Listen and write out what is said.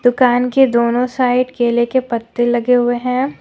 दुकान के दोनों साइड केले के पत्ते लगे हुए हैं ।